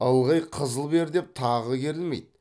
ылғи қызыл бер деп тағы керілмейді